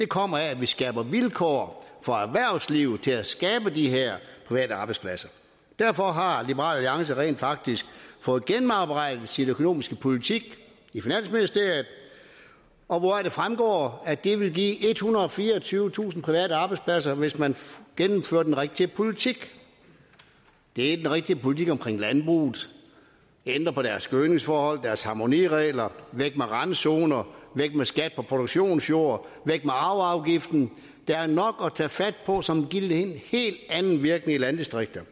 kommer af at vi skaber vilkår for erhvervslivet til at skabe de her private arbejdspladser derfor har liberal alliance rent faktisk fået gennemarbejdet sin økonomiske politik i finansministeriet og det fremgår at det vil give ethundrede og fireogtyvetusind private arbejdspladser hvis man gennemfører den rigtige politik det er den rigtige politik omkring landbruget at ændre på deres gødningsforhold og deres harmoniregler væk med randzoner væk med skat på produktionsjord væk med arveafgiften der er nok at tage fat på som vil give en helt anden virkning i landdistrikterne